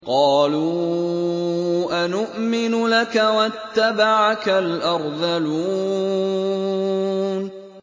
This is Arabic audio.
۞ قَالُوا أَنُؤْمِنُ لَكَ وَاتَّبَعَكَ الْأَرْذَلُونَ